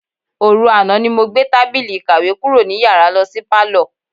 Òru àná ni mo gbé tábìlì ìkàwé kúrò ní yàrá lo̩ sí pálò̩.